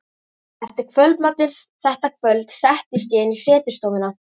Eftir kvöldmatinn þetta kvöld settist ég inn í setustofuna.